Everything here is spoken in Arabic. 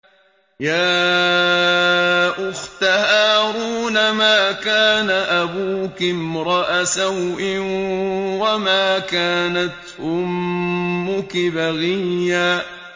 يَا أُخْتَ هَارُونَ مَا كَانَ أَبُوكِ امْرَأَ سَوْءٍ وَمَا كَانَتْ أُمُّكِ بَغِيًّا